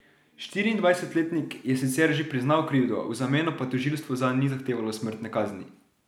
Štiriindvajsetletnik je sicer že priznal krivdo, v zameno pa tožilstvo zanj ni zahtevalo smrtne kazni.